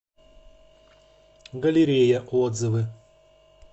галерея отзывы